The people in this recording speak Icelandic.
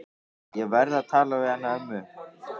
Ég verð að tala við hana ömmu.